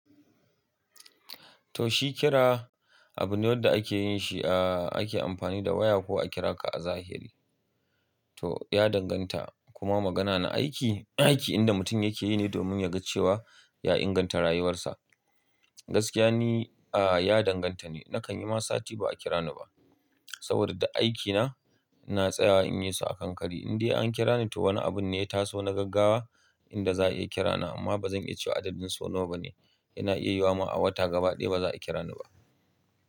To shi kira abu ne wanda ake yin shi, a ake amfani da waya ko a kira ka a zahiri. To ya danganta, kuma magana na aiki, aiki inda mutum yake yi ne domin ya ga cewa ya inganta rayuwarsa. Gaskiya ne, a ya danganta ne. Nakan yi ma sati ba a kira ni ba saboda duk aikina ina tsayawa in yi su a kan kari. Indai an kira ni to wani abun ne ya taso na gaggawa inda za a iya kira na amma ba zan iya cewa adadin sau nawa bane yana iya yiwuwa ma a wata gaba ɗaya ba za a kira ni ba.